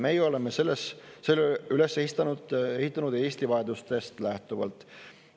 Meie oleme selle üles ehitanud Eesti vajadustest lähtuvalt.